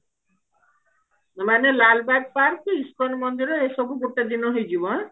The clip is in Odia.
ମାନେ ଲାଲବାଗ park ଇସ୍କନ ମନ୍ଦିର ଏସବୁ ଗୋଟେ ଦିନ ହେଇଯିବ ଆଁ